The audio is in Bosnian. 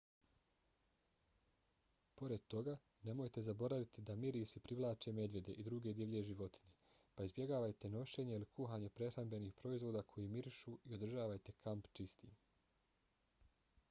pored toga nemojte zaboraviti da mirisi privlače medvjede i druge divlje životinje pa izbjegavajte nošenje ili kuhanje prehrambenih proizvoda koji mirišu i održavajte kamp čistim